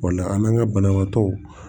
O la an' ŋa banabaatɔw